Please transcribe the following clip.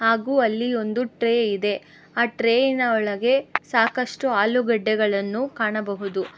ಹಾಗು ಅಲ್ಲಿ ಒಂದು ಟ್ರೇ ಇದೆ ಆ ಟ್ರೇಯಿನ ಒಳಗೆ ಸಾಕಷ್ಟು ಆಲೂಗಡ್ಡೆಗಳನ್ನು ಕಾಣಬಹುದು.